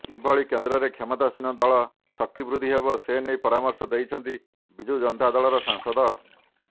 କିଭଳି କେନ୍ଦ୍ରରେ କ୍ଷମତାସୀନ ଦଳର ଶକ୍ତିବୃଦ୍ଧି ହେବ ସେନେଇ ପରାମର୍ଶ ଦେଇଛନ୍ତି ବିଜୁ ଜନତା ଦଳର ସାଂସଦ